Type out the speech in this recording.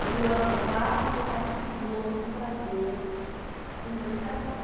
Eu amo, faço o que eu faço com gosto, com prazer, com dedicação.